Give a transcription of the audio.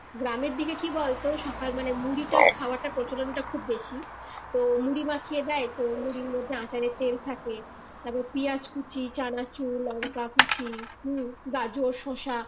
গ্রামের দিকে কি বলতো সকাল মানে মুড়িটা খাওয়াটা প্রচলনটা খুব বেশি তো মুড়ি মাখিয়ে দেয় তো মুড়ির মধ্যে আচাড়ের তেল থাকে তারপর পিয়াজ কুচি চানাচুর লঙ্কা কুচি হম গাজর শশা